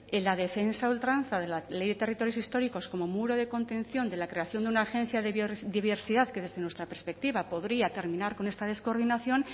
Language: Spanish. en la defensa a ultranza de la ley de territorios históricos como muro de contención de la creación de una agencia de biodiversidad que desde nuestra perspectiva podría terminar con esta descoordinación